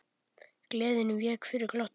Gleðin vék fyrir glotti.